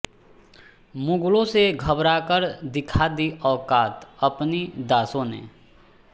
मुगलों से घबराकर दिखा दी औकात अपनी दासों ने